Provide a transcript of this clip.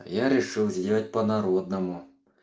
я решил сделать по народному